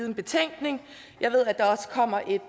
en betænkning og jeg ved at der også kommer et